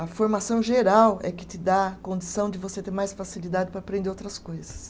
A formação geral é que te dá condição de você ter mais facilidade para aprender outras coisas.